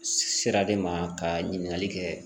Sira de ma ka ɲininkali kɛ